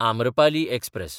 Amrapali express